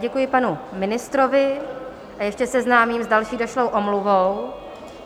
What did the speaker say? Děkuji panu ministrovi a ještě seznámím s další došlou omluvou.